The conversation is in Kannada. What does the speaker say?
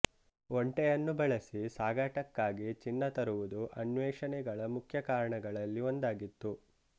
ಒಂಟೆಯನ್ನು ಬಳಸಿ ಸಾಗಾಟಕ್ಕಾಗಿ ಚಿನ್ನ ತರುವುದು ಅನ್ವೇಷಣೆಗಳ ಮುಖ್ಯ ಕಾರಣಗಳಲ್ಲಿ ಒಂದಾಗಿತ್ತು